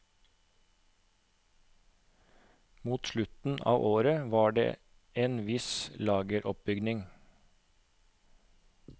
Mot slutten av året var det en viss lageroppbygging.